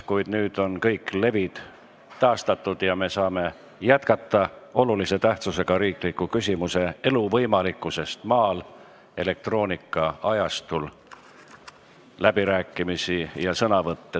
Kuid nüüd on kõik levid taastatud ja me saame jätkata olulise tähtsusega riikliku küsimuse "Elu võimalikkusest maal elektroonikaajastul" arutelu.